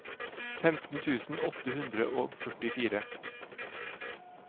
femten tusen åtte hundre og førtifire